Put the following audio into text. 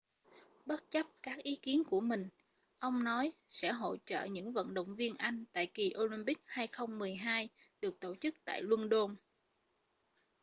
bất chấp các ý kiến của mình ông nói sẽ hỗ trợ những vận động viên anh tại kỳ olympics 2012 được tổ chức tại luân đôn